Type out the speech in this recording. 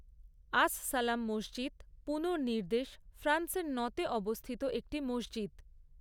আস সালাম মসজিদ পুনর্নির্দেশ ফ্রান্সের নঁতে অবস্থিত একটি মসজিদ।